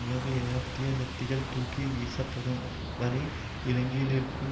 உலக ஏகாப்த்திய சக்திகள் தூக்கி வீசப்படும் வரை இலங்கையில் இருக்கும்